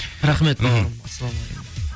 рахмет бауырым ассаламағалейкум